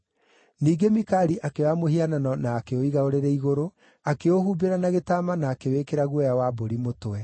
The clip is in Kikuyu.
Ningĩ Mikali akĩoya mũhianano na akĩũiga ũrĩrĩ igũrũ, akĩũhumbĩra na gĩtama na akĩwĩkĩra guoya wa mbũri mũtwe.